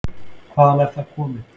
Hvaðan er það komið?